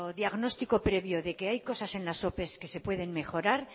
diagnóstico previo de que hay cosas en las opes que se pueden mejorar